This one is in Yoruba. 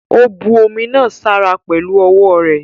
Ó bu omi náà sára pẹ̀lu ọwọ́ rẹ̀.